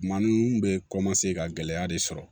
Maa ninnu bɛ ka gɛlɛya de sɔrɔ